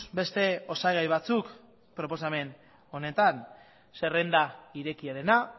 beste osagai batzuk proposamen honetan zerrenda irekiarena